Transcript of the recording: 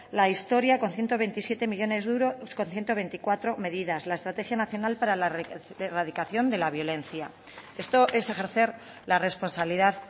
la historia con ciento veintisiete millónes de euros con ciento veinticuatro medidas la estrategia nacional para la erradicación de la violencia esto es ejercer la responsabilidad